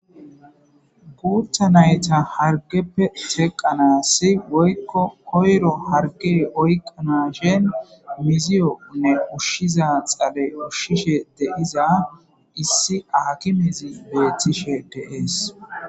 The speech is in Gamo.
Guththa naytta hargeppe teqqanas woykko koyro hargey oyqqanappe uushshiyo xaale uushishe de'iza issi akimezi bettishe de'ess.